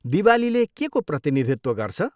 दिवालीले केको प्रतिनिधित्व गर्छ?